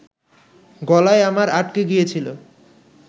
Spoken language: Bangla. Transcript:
গলায় আমার আটকে গিয়েছিল